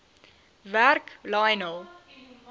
werk lionel